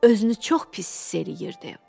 Özünü çox pis hiss eləyirdi.